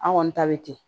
An kɔni ta bɛ ten